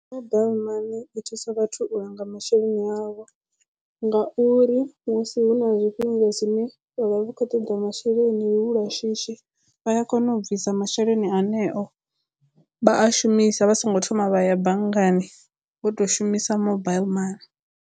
Mobile mani i thusa vhathu u langa masheleni avho ngauri musi hu na zwifhinga zwine vha vha vha khou toḓa masheleni lu lwa shishi vha ya kona u bvisa masheleni aṋeo vha a shumisa vha songo thoma vha ya banngani vho to shumisa mobile mani.